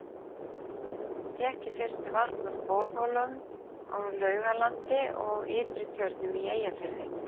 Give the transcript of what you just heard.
Fékk í fyrstu vatn úr borholum á Laugalandi og Ytri-Tjörnum í Eyjafirði.